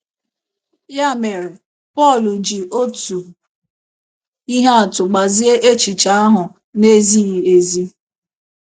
Ya mere, Pọl ji otu ihe atụ gbazie echiche ahụ na - ezighị ezi.